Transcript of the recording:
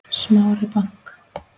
Smári bank